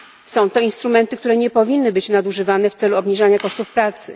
Są to instrumenty, które nie powinny być nadużywane w celu obniżenia kosztów pracy.